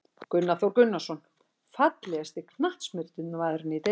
Gunnar Þór Gunnarsson Fallegasti knattspyrnumaðurinn í deildinni?